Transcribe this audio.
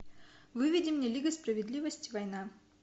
выведи мне лига справедливости война